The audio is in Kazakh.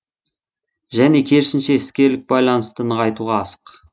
және керісінше іскерлік байланысты нығайтуға асық